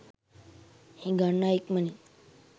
හිඟන්නා ඉක්මනින්